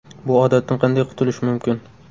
Bu odatdan qanday qutulish mumkin?